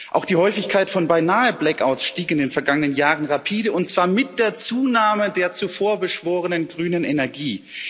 Auch die Häufigkeit von Beinahe Blackouts stieg in den vergangenen Jahren rapide und zwar mit der Zunahme der zuvor beschworenen grünen Energie.